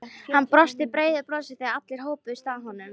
Hann brosti breiðu brosi þegar allir hópuðust að honum.